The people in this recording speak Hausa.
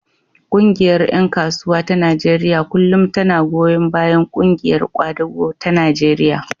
Ƙungiyar ƴan kasuwa ta Najeriya kullum tana goyon bayan ƙungiyar ƙwadago ta Najeriya.